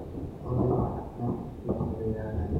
olly waxa aflaanta agteyda ku ciyaaraya